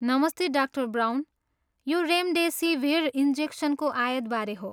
नमस्ते, डा. ब्राउन। यो रेमडेसिभिर इन्जेक्सनको आयातबारे हो।